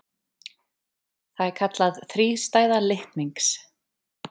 Það er kallað þrístæða litnings.